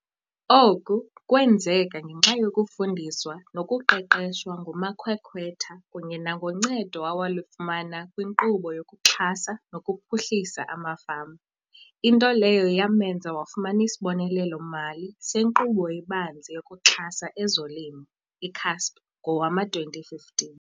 Oku kwenzeka ngenxa yokufundiswa nokuqeqeshwa ngumakhwekhwetha kunye nangoncedo awalifumana kwiNkqubo yokuXhasa nokuPhuhlisa amaFama, into leyo yamenza wafumana isibonelelo-mali seNkqubo eBanzi yokuXhasa ezoLimo, i-CASP, ngowama-2015.